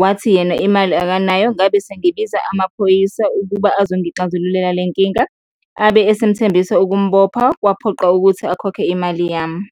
wathi yena imali akanayo. Ngabe sengibiza amaphoyisa ukuba azongixazululela le nkinga, abe asemthembisa ukumbopha, kwaphoqa ukuthi akhokhe imali yami.